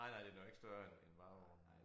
Nej nej den er jo ikke større end end varevognen